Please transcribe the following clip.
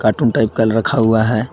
Type का रखा हुआ है।